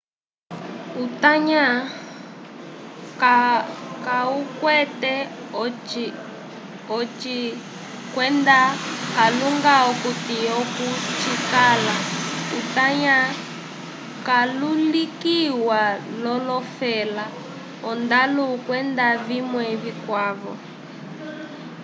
utanya kawukwete oci kwenda kalunga akuti oko cikala utanya walulikiwa l'olofela ondalu kwenda vimwe vikwavo